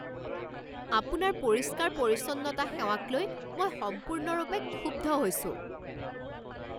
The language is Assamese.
আপোনাৰ পৰিষ্কাৰ পৰিচ্ছন্নতা সেৱাকলৈ মই সম্পূৰ্ণভাৱে ক্ষুব্ধ হৈছোঁ।